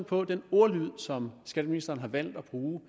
på den ordlyd som skatteministeren har valgt at bruge